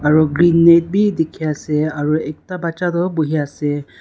aro green net bi dikhi ase aro ekta baccha toh buhi ase.